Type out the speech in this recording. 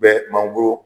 Bɛ mangoro